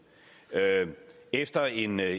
efter en